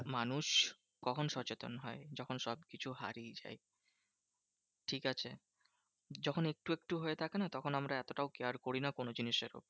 মানুষ কখন সচেতন হয়? যখন সবকিছু হারিয়ে যায়। ঠিকাছে? যখন একটু একটু হয়ে থাকে না তখন আমরা এতটাও care করি না কোনো জিনিসের উপর।